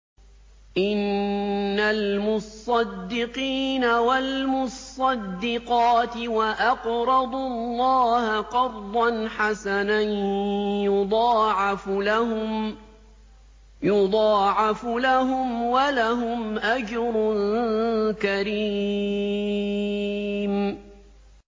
إِنَّ الْمُصَّدِّقِينَ وَالْمُصَّدِّقَاتِ وَأَقْرَضُوا اللَّهَ قَرْضًا حَسَنًا يُضَاعَفُ لَهُمْ وَلَهُمْ أَجْرٌ كَرِيمٌ